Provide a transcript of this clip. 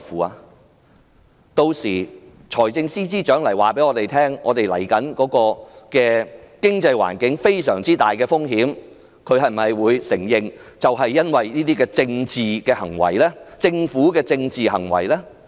若日後財政司司長告知我們，經濟環境面臨重大風險，他會承認是政府這些政治行為所致的嗎？